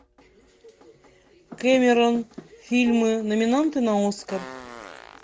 кэмерон фильмы номинанты на оскар